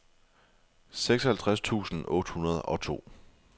seksoghalvtreds tusind otte hundrede og to